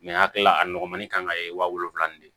a kilala a nɔgɔnmani kan ka kɛ wa wolonwula nin de